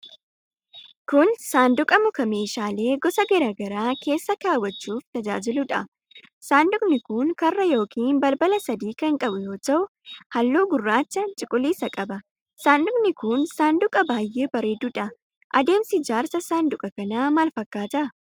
Kun saanduqa muka meeshaalee gosa garaa garaa keessa kaawwachuuf tajaajiluu dha. Saanduqni kun, karra yokin balbala sadi kan qabu yoo ta'u, haalluu gurraacha cuquliisa qaba. Saanduqni kun, saanduqa baaay'ee bareeduu dha. Adeemsi ijaarsa saanduqa kanaa maal fakkaata?